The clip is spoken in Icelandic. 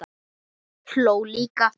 Hló líka.